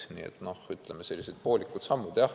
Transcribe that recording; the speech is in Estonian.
Nii et, ütleme, sellised poolikud sammud.